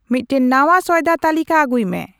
ᱢᱤᱫᱴᱟᱝ ᱱᱟᱶᱟ ᱥᱚᱭᱫᱟ ᱛᱟᱞᱤᱠᱟ ᱟᱹᱜᱩᱭ ᱢᱮ